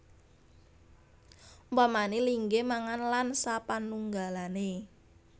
Umpamané linggih mangan lan sapanunggalané